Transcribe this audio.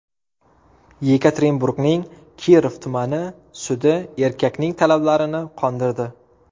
Yekaterinburgning Kirov tumani sudi erkakning talablarini qondirdi.